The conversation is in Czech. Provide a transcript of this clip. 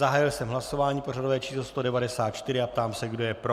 Zahájil jsem hlasování pořadové číslo 194 a ptám se, kdo je pro.